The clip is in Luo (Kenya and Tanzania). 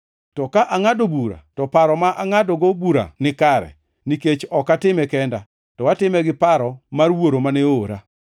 To ka angʼado bura to paro ma angʼadogo bura nikare nikech ok atime kenda, to atime gi paro mar Wuoro mane oora.